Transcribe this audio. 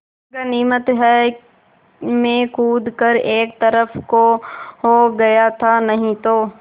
गनीमत है मैं कूद कर एक तरफ़ को हो गया था नहीं तो